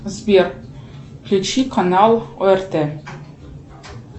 сбер включи канал орт